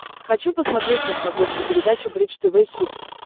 хочу посмотреть на смотрешке передачу бридж тв хитс